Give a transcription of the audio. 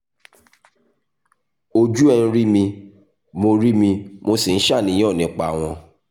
ojú ẹ̀ ń rí mi mo rí mi mo sì ń ṣàníyàn nípa wọn